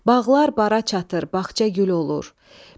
Bağlar bara çatır, bağça gül olur.